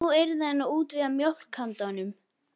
Nú yrði hann að útvega mjólk handa honum.